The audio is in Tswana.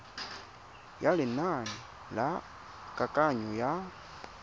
ya lenane la kananyo ya